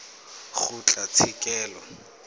kgotlatshekelo